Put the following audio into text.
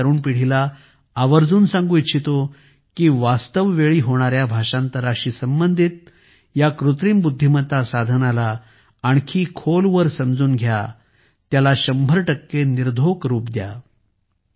मी आज तरुण पिढीला आवर्जून सांगु इच्छितो की वास्तव वेळी होणाऱ्या भाषांतराशी संबंधित कृत्रिम बुद्धीमत्ता साधनाला आणखी खोलवर समजून घ्या त्याला शंभर टक्के निर्धोक रूप द्या